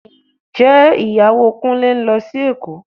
Ǹjẹ́ Ìyàwó Kúnlé ń lọ sí Èkó